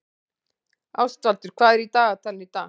Ástvaldur, hvað er í dagatalinu í dag?